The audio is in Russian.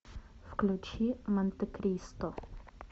включи монте кристо